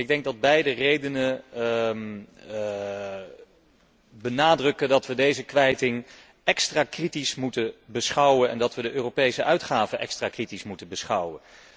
Ik denk dat beide redenen benadrukken dat we deze kwijting extra kritisch moeten bekijken en dat we de Europese uitgaven extra kritisch moeten bekijken.